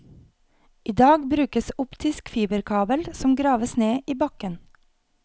I dag brukes optisk fiberkabel som graves ned i bakken.